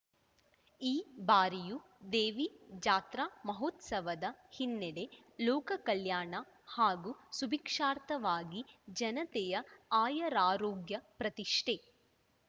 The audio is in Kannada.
ಈ ಬಾರಿಯೂ ದೇವಿ ಜಾತ್ರಾ ಮಹೋತ್ಸವದ ಹಿನ್ನೆಲೆ ಲೋಕ ಕಲ್ಯಾಣ ಹಾಗೂ ಸುಭಿಕ್ಷಾರ್ಥವಾಗಿ ಜನತೆಯ ಆಯರಾರೋಗ್ಯ ಪ್ರತಿಷ್ಠೆ